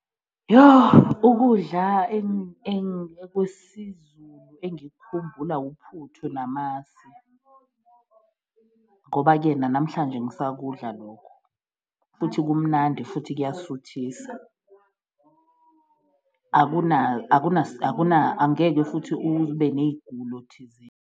Yoh, ukudla ekwesiZulu engikukhumbula uphuthu namasi, ngoba-ke nanamhlanje ngisakudla lokho futhi kumnandi futhi kuyasuthisa, angeke futhi ube neyigulo thizeni.